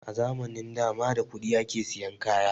A zamanin da ma da kuɗi ake sayan kaya ba